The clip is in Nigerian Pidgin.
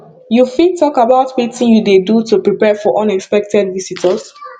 you fit talk about wetin you dey do to prepare for unexpected visitors